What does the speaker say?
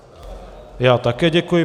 Já také děkuji.